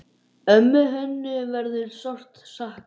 Ömmu Hönnu verður sárt saknað.